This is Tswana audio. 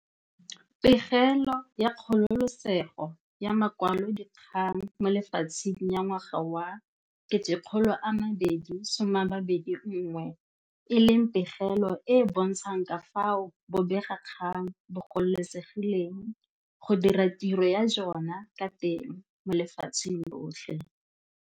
Pegelo ya Kgololesego ya Makwalodikgang mo Lefatsheng ya ngwaga wa 2021, e leng pegelo e e bontshang ka fao bobega kgang bo gololesegileng go dira tiro ya jona ka teng mo lefatsheng lotlhe.